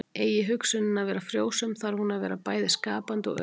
Eigi hugsunin að vera frjósöm þarf hún að vera bæði skapandi og öguð.